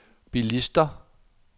bilister